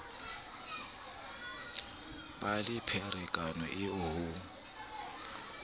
ba le pherekano eo ho